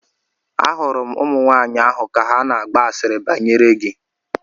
Ahụrụ m ụmụnwaanyị ahụ ka ha na-agba asịrị banyere gị.